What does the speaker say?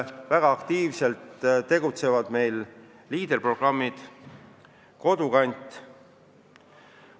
Väga aktiivselt tegutsetakse Leader-programmi ja liikumise Kodukant raames.